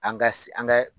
An ka an ka